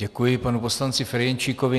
Děkuji panu poslanci Ferjenčíkovi.